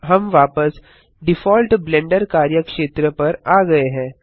हम वापस default Blender कार्यक्षेत्र पर आ गये हैं